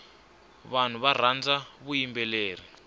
vanhu varhandza vuyimbeleri